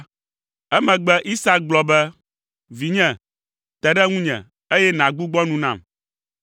Emegbe Isak gblɔ be, “Vinye, te ɖe ŋunye, eye nàgbugbɔ nu nam!”